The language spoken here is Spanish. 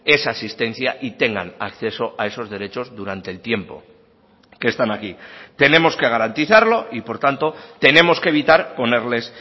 esa asistencia y tengan acceso a esos derechos durante el tiempo que están aquí tenemos que garantizarlo y por tanto tenemos que evitar ponerles